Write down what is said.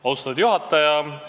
Austatud juhataja!